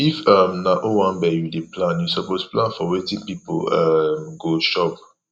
if um na owanbe you dey plan you suppose plan for wetin pipo um go chop